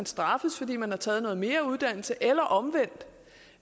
straffes fordi man har taget noget mere uddannelse eller omvendt